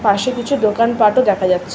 পাশে কিছু দোকানপাটও দেখা যাচ্ছ--